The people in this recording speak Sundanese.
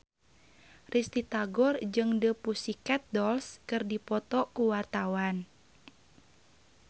Risty Tagor jeung The Pussycat Dolls keur dipoto ku wartawan